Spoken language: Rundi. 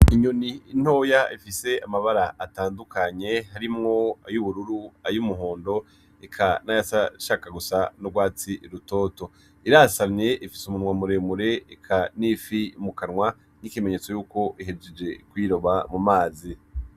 Inyoni ntoya ifise amabara atandukanye harimwo ay'ubururu, ay'umuhondo, eka nayasa ashaka gusa n'urwatsi rutoto, irasamye ifise umunwa muremure eka n'ifi mukanwa n'ikimenyetso yuko ihejeje kwiroba mu mazi.